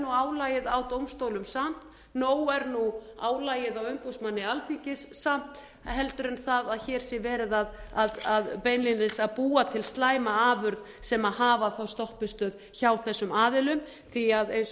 álagið á dómstólum samt nóg er nú álagið á umboðsmanni alþingis samt heldur en það að hér sé verið að beinlínis að búa til slæma afurð sem hafa þá stoppistöð hjá þessum aðilum því eins